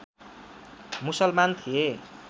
मुसलमान थिए